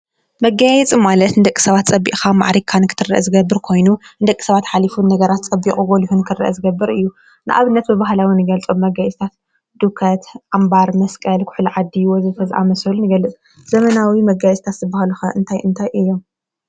መጋየፂ ማለት ንደቂ ሰባት ፀቢቕካ ማዕሪግካ ንኽትርአ ዝገብር ኾይኑ ንደቂ ሰባት ሓሊፉ ንነገራት ፀቢቑ ጎሊሁ ንኽረአ ዝገብር እዩ። ንኣብነት ብባህላዊ እንገልፆም መጋየፅታት ዱከት ፣ዓምባር፣ መስቀል ፣ኩሕሊ ዓዲ ወዘተ ዝኣመሰሉ ንገልፅ ዘመናዊ መጋየፅታት ዝበሃሉ ኸ እንታይ እንታይ እዮም?